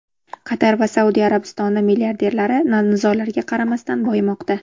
Qatar va Saudiya Arabistoni milliarderlari nizolarga qaramasdan boyimoqda.